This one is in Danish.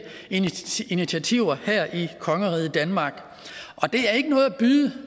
initiativer her i kongeriget danmark det er ikke noget at byde